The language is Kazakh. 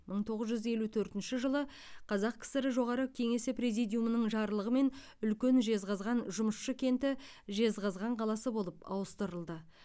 мың тоғыз жүз елу төртінші жылы қазақ кср жоғары кеңесі президиумының жарлығымен үлкен жезқазған жұмысшы кенті жезқазған қаласы болып ауыстырылды